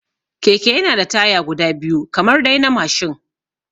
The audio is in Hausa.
Keke yana da taya guda biyu kamar dai na mashin